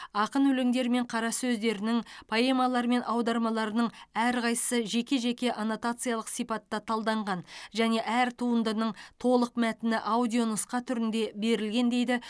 ақын өлеңдері мен қара сөздерінің поэмалары мен аудармаларының әрқайсы жеке жеке аннотациялық сипатта талданған және әр туындының толық мәтіні аудионұсқа түрінде берілген дейді